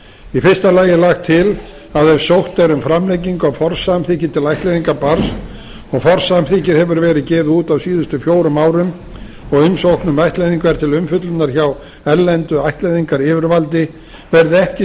í fyrsta lagi er lagt til að ef sótt er um framlengingu á forsamþykki til ættleiðingar barns og forsamþykkið hefur verið gefið út á síðustu fjórum árum og umsókn um ættleiðingu er til umfjöllunar hjá erlendu ættleiðingaryfirvaldi verði ekki